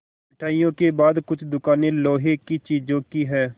मिठाइयों के बाद कुछ दुकानें लोहे की चीज़ों की हैं